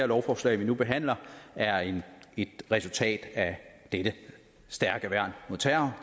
lovforslag vi nu behandler er et resultat af dette et stærkt værn mod terror